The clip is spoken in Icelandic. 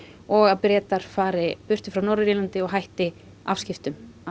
og að Bretar fari burtu frá Norður Írlandi og hætti afskiptum af